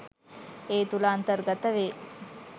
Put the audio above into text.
ඒ තුළ අන්තර්ගත වේ